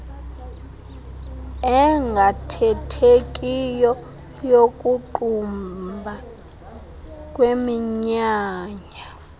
engaathethekiyo yokuqumba kweminyanya